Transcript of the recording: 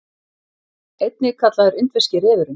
Einnig kallaður indverski refurinn.